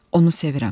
Onu sevirəm.